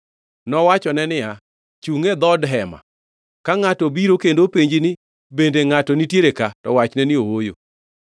Nowachone niya, “Chungʼ e dhood hema. Ka ngʼato obiro kendo openji ni, ‘Bende ngʼato nitiere ka?’ To wachne ni, ‘Ooyo.’ ”